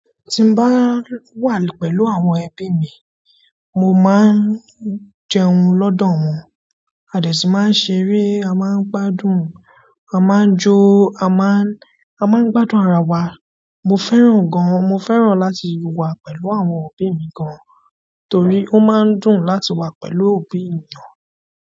Tí n bá wà pẹ̀lú àwọn ẹbi mi, mo máa ń jẹun lọ́dọ̀ wọn, a dẹ sì máa ń ṣeré, a máa ń gbádùn, a máa n jó, a máa ń, a máa ń gbádùn ara wa. Mo fẹ́ràn gan-an, mo fẹ́ràn láti wà pẹ̀lú àwọn òbí mi gan-an torí ó máa ń dùn láti wà pẹ̀lú òbí ènìyàn.